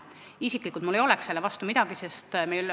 Isiklikult mul ei oleks selle vastu midagi.